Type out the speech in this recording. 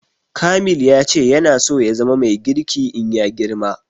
Kamil ya ce yana so ya zama mai girki in ya girma